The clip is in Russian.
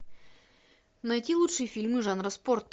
найти лучшие фильмы жанра спорт